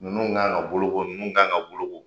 Ninnu kan ka boloko ninnu kan ka boloko.